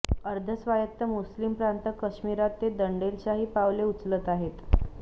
अर्धस्वायत्त मुस्लिम प्रांत काश्मीरात ते दंडेलशाही पावले उचलत आहेत